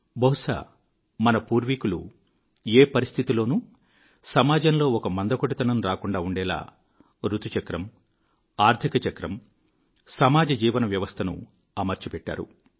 బహుశా మన పూర్వీకులు ఏ పరిస్థితిలోనూ సమాజములో ఒక మందకొడితనం రాకుండా ఉండేలా ఋతుచక్రము ఆర్థిక చక్రము సమాజ జీవన వ్యవస్థ ను అమర్చిపెట్టారు